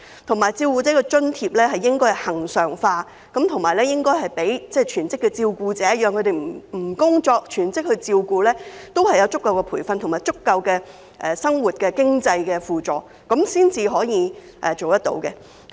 此外，照顧者津貼計劃應該恆常化，並發放予全職的照顧者，讓他們可以放下工作，全職照顧家人，並有足夠的培訓及足夠的生活經濟輔助，這樣才可以解決問題。